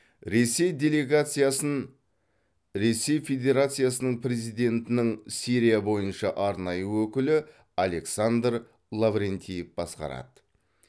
ресей делегациясын ресей федерациясының президентінің сирия бойынша арнайы өкілі александр лаврентьев басқарады